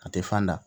A tɛ fan da